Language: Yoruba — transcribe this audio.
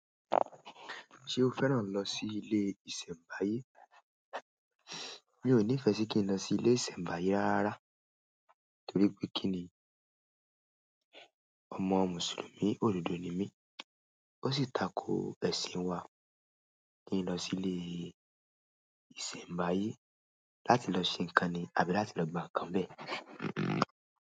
Ṣé o fẹ́ràn lọ sí ilé ìsẹ̀mbáyé? Mi ò nífẹ sí kí n lo sí ilé ìsẹ̀mbáyé rárá torí pé kí ni? Ọmọ mùsùlùmí òdodo ni mí, ó sì tako ẹ̀sìn wa kí n lọ sí ilé ìsẹ̀mbáyé láti lọ ṣe ǹkan ni àbí láti lọ gba ǹkan bẹ́ẹ̀.